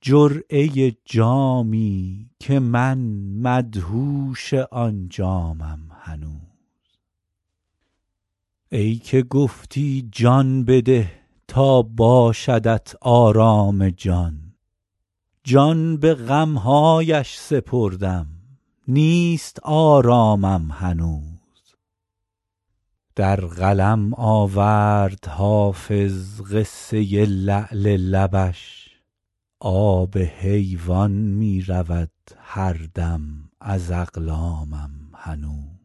جرعه جامی که من مدهوش آن جامم هنوز ای که گفتی جان بده تا باشدت آرام جان جان به غم هایش سپردم نیست آرامم هنوز در قلم آورد حافظ قصه لعل لبش آب حیوان می رود هر دم ز اقلامم هنوز